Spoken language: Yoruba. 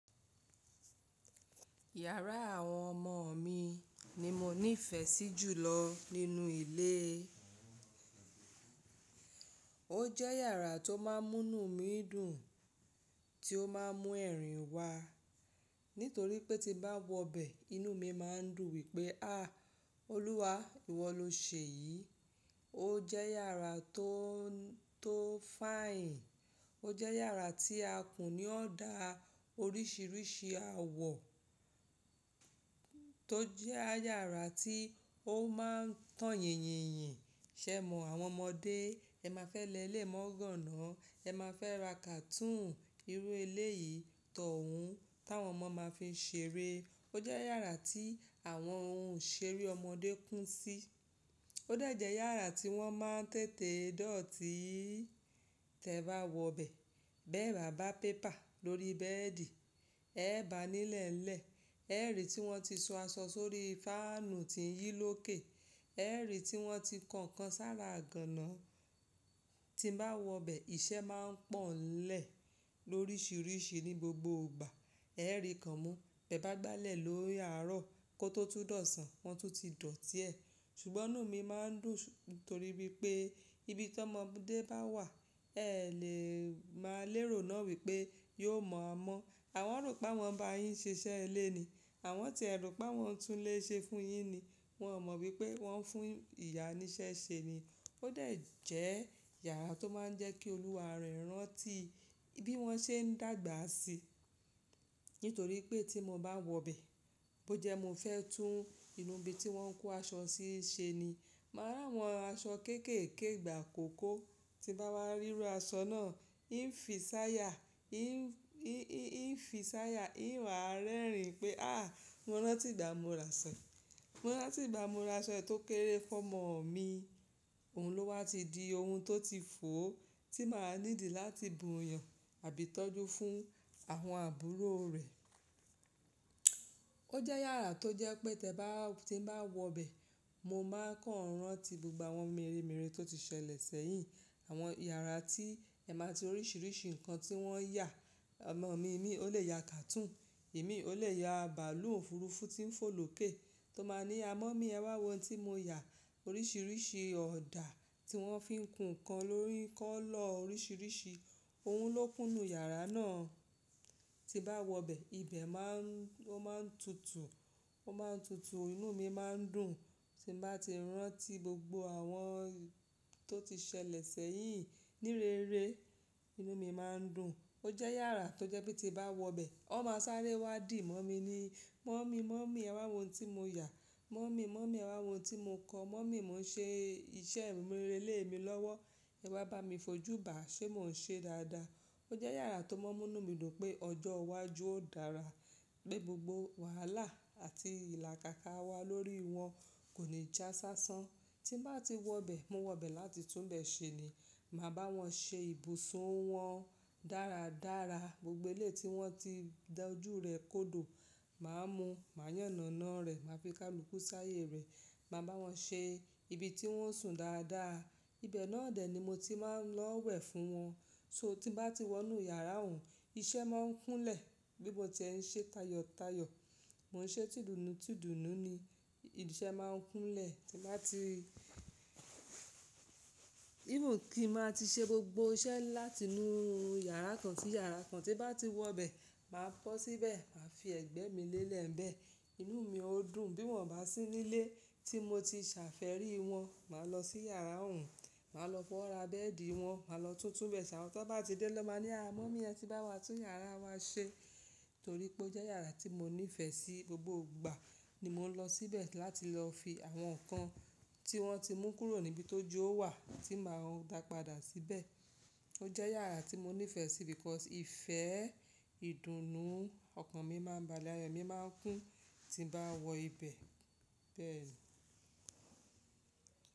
Yàrá àwọn ọmọ mi ni mo nífẹ̀ẹ́ sí jù lọ nínú ilé. Ó jẹ́ yàrá tó máa ń mú inú mi dùn, tí ó máa ń mú ẹ̀rín wa. Nítorí pé tí bá wọ bẹ, inú mi máa ń dùn wípé, "à, Olúwa, ìwọ ló ṣe yìí." Ó jẹ́ yàrá tó, tó finè, ó jẹ́ yàrá tí a kùn ní ọ̀dà oríṣiríṣi àwọ̀. Tó jẹ́ yàrá tí ó máa ń tan yìnyínyin, ṣẹ̀ mọ́ àwọn ọmọdé, ẹ má fẹ́ lẹ lé mọ́ ganna, ẹ má fẹ́ ra kàtún irú eléyì tọ̀un tí àwọn ọmọ máa fi ń ṣeré. Ó jẹ́ yàrá tí àwọn ohun ìṣeré ọmọdé kún sí. Ó de jẹ́ yàrá tí wọ́n máa ń tètè dọ̀tí tí ẹ bá wọ bẹ. Bẹ́ẹ̀ bà bá pépà lórí bẹ́ẹ̀dì, ẹ́ bà nílẹ̀elẹ̀, ẹ́rì tí wọ́n ti san aṣọ sórí fáànù tí ń yí lókè, ẹ́rì tí wọ́n ti ko nkàn sára ganna. Tí n bá wọ bẹ, iṣẹ́ máa ń pọ̀ nlẹ̀ lóríṣiríṣi ní gbogbo ìgbà. Ẹ́rì kan mú, bẹ bá gbálẹ̀ lórí àárọ̀ kó tó túdọ̀san, wọn tún ti dọ̀tí ẹ̀. Ṣùgbọ́n inú mi máa ń dùn torí wípé ibi tí ọmọdé bá wà, ẹ lè máa lérò náà wípé, yóò mọ̀ á mọ́. Àwọn rò pé awọ́n ń bá yín ṣe iṣẹ́ ilé ni. Àwọn ti ẹ̀ rò pé awọ́n ń tún ilé ṣe fún yín ni. Wọn ò mọ̀ wípé wọ́n ń fún ìyá ní iṣẹ́ ṣe ni. Ó de jẹ́ yàrá tó máa ń jẹ́ kí Olúwa rẹ́ ràntí bí wọ́n ṣe ń dàgbà sí. Nítorí pé tí mo bá wọ bẹ, bó jẹ́ mo fẹ́ tún inú ibi tí wọ́n ń kó aṣọ sí ṣe ni, màá rà àwọn aṣọ kéékèèké ìgbà kò kó. Ti n bá wá ríru aṣọ náà, n fi ṣaya, n fi ṣaya, n wáa rẹ́rìn-ín pé, "à, mo ranti ìgbà mo ra aṣọ yi, mo ranti ìgbà mo ra aṣọ yi tó kéré fún ọmọ mi. Òun ló wá ti di ohun tó ti fò, tí màá ní dì láti buyàn àbí tọ́jú fún àwọn àbúrò rẹ̀." Ó jẹ́ yàrá tó jẹ́ pé tí ẹ bá, tí n bá wọ bẹ, mo máa kan n ràntí gbogbo àwọn meremere tó ti ṣẹlẹ̀ sẹ́yìn. Àwọn yàrá tí ẹ máa ti oríṣiríṣi nǹkan tí wọ́n yà. Ọmọ mi, èmi ó lè ya kàtún, imii ó lè ya bàálù òfurufú tí ń fò lókè tó máa ní, "à, mummy, ẹ wá wo ohun tí mo yà." Oríṣiríṣi ọ̀dà tí wọ́n fi ń kun nǹkan lórí kọ́lọ̀ oríṣiríṣi. Ohun ló kúnnù yàrá náà. Tí n bá wọ bẹ, ibẹ̀ má ń, ó máa ń tutù, ó máa ń tutù, inú mi máa ń dùn. Tí n bá ti rántí gbogbo àwọn tó ti ṣẹlẹ̀ sẹ́yìn ní rere, inú mi máa ń dùn. Ó jẹ́ yàrá tó jẹ́ pé tí bá wọ bẹ, wón máa sáré wá dì mọ́ mi ni. "Mummy, mummy, ẹ wá wo ohun tí mo yà. Mummy mummy, ẹ wá wo ohun tí mo kọ. Mummy, mò ń ṣe iṣẹ́ ìmurele mi lọ́wọ́. Ẹ wa bá mi fojú bá, ṣé mò ń ṣe dáadáa?" Ó jẹ́ yàrá tó máa ń mú inú mi dùn pé ọjọ́ iwájú ó dára, pé gbogbo wàhálà àti ìlàkàkà wà lórí wọn kò ní jásásán. Tí n bá ti wọ bẹ, mo wọ bẹ láti tún bẹ ṣe ni. Màá bá wọn ṣe ibùsun wọn dáradára. Gbogbo eléyi tí wọ́n ti dá ojú rẹ̀ kódò, màá mú, màá yànàná rẹ̀, màá fi kálùkù ṣáayè rẹ̀, màá bá wọn ṣe ibi tí wọ́n ó sùn dáadáa. Ibẹ̀ náà dè ni mo ti máa ń lọ wẹ̀ fún wọn. So tí n bá ti wọ inú yàrá ọhun, iṣẹ́ máa ń kúnlẹ̀. Bí mo tí ẹ ń ṣe tayọ̀tayọ̀, mò ń ṣe tìdùnnú tìdùnnú ni, iṣẹ́ máa ń kúnlẹ̀. Tí n bá ti, Even kí n máa ti ṣe gbogbo iṣẹ́ láti inú yàrá kan sí yàrá kan, tí n bá ti wọ bẹ, màá kọ̀ síbẹ̀, màá fi ẹ̀gbẹ́ mi lélẹ̀ bẹ. Inú mi ó dùn bí wọ́n bá sí nílé tí mo ti ṣàfẹ́rí wọn. Màá lọ sí yàrá ọhun, màá lọ fọ́wora bẹ́ẹ̀dì wọn, màá lọ tún tun bẹ sá. Amọ́ tan bá ti dé naa máa ní, "à, mummy, ẹ ti bá wa tún yàrá wa ṣe." Torí pé ó jẹ́ yàrá tí mo nífẹ̀ẹ́ sí gbogbo ìgbà ni mò ń lọ síbẹ̀ láti lọ fi àwọn nǹkan tí wọ́n ti mú kúrò níbi tó ye o wà, tí màá dá padà síbẹ̀. Ó jẹ́ yàrá tí mo nífẹ̀ẹ́ sí because ìfẹ́, ìdùnnú ọkàn mi máa ń balẹ̀, ayo mi máa ń kún tí n bá wọ ibẹ̀ bẹ́ẹ̀ ni.